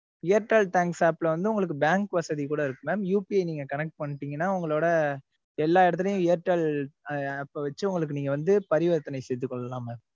airtel thanks app ல வந்துஉங்களுக்கு bank வசதி கூட இருக்கு mam API நீங்க connect பண்ணிட்டீங்களா உங்களோட எல்லா இடத்திலேயும் airtel app வச்சு நீங்க வந்து பரிவர்த்தனை செய்துக் கொள்ளலாம் mam